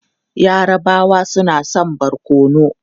Yarabawa suna son barkono.